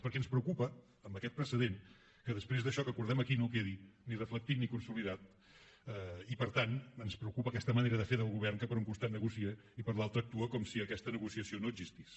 perquè ens preocupa amb aquest precedent que després d’això que acordem aquí no quedi ni reflectit ni consolidat i per tant ens preocupa aquesta manera de fer del govern que per un costat negocia i per l’altre actua com si aquesta negociació no existís